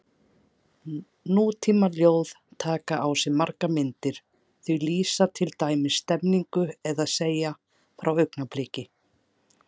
Nútímaljóð taka á sig margar myndir, þau lýsa til dæmis stemningu eða segja frá augnabliki.